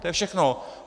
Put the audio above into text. To je všechno!